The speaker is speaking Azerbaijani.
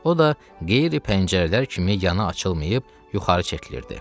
O da qeyri pəncərələr kimi yana açılmayıb yuxarı çəkilirdi.